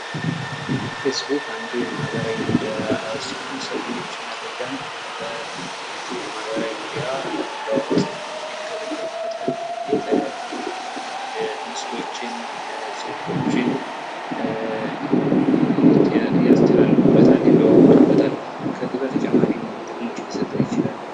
ፌስቡክ አንዱ የማህበራዊ ሚዲያ ሲሆን ሰዎች መረጃን በዚህ ማህበራዊ ሚዲያ ለመለዋወጥ ይገለገሉበታል። የተለያዩ ምስሎችን ፣ፅሁፎችን ያስተላልፉበታል፤ ይለዋወጡበታል። ከዚህ በተጨማሪ ምን ምን ጥቅሞችን ሊሰጥ ይችላል?